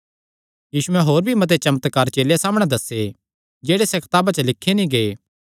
यीशुयैं होर भी मते चमत्कार चेलेयां सामणै दस्से जेह्ड़े इसा कताबा च लिखे नीं गै